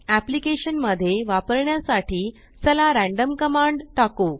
application मध्ये वापरण्या साठी चला रॅन्डम कमांड टाकु